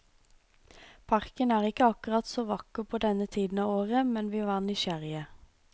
Parken er ikke akkurat så vakker på denne tiden av året, men vi var nysgjerrige.